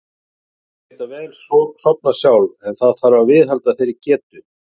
Börn geta vel sofnað sjálf en það þarf að viðhalda þessari getu.